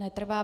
Netrvá.